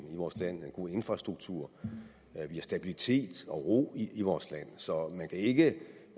i vores land og en god infrastruktur at vi har stabilitet og ro i vores land så man kan ikke